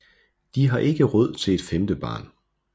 De har ikke råd til et femte barn